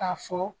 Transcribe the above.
K'a fɔ